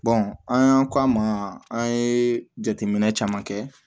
an y'an k'an ma an ye jateminɛ caman kɛ